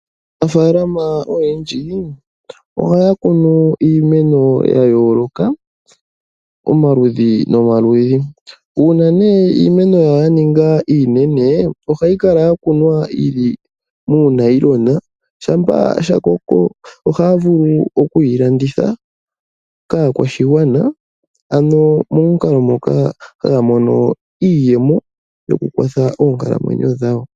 Aanafaalama oyendji ohaya kunu iimeno ya yooloka omaludhi nomaludhi. Uuna nee iimeno yawo ya ninga iinene ohayi kala ya kunwa yi li muunayilona shampa sha koko ohaya vulu oku yi landitha kaakwashigwana ano momukalo moka haya mono iiyemo yo ku kwatha oonkalamwenyo dhawo.